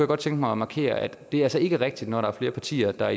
godt tænke mig at markere at det altså ikke er rigtigt når der er flere partier der